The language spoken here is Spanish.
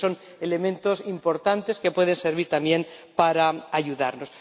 Creo que son elementos importantes que pueden servir también para ayudarnos.